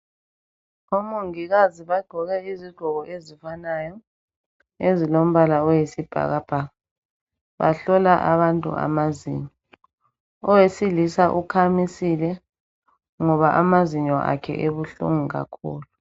Omongikazi bagqoka izigqoko ezifanayo ezilombala oyisibhakabhaka bahlola abantu amazinyo owesilisa ukhamisile ngoba amazinyo akhe ebuhlungu kakhulu